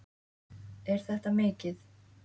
Er þetta mikið?